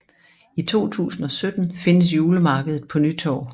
I 2017 findes julemarkedet på Nytorv